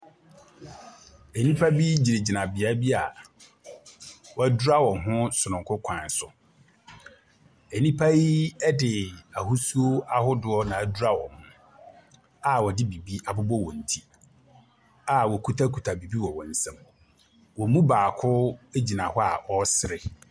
Nnipa bi gyinagyina beae bi wɔadwira wɔn ho sononko kwan so. Nnipa yi de ahosuo ahodoɔ na adwira wɔn ho a wɔde biribi abobɔ wɔn ti a wɔkitakita biribi wɔ wɔn nsam. Wɔn mu baako gyina hɔ ɔresere.